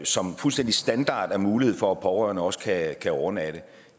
som fuldstændig standard er mulighed for at pårørende også kan overnatte